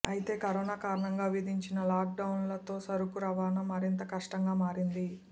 అయితే కరోనా కారణంగా విధించిన లాక్ డౌన్లతో సరుకు రవాణా మరింత కష్టంగా మారింది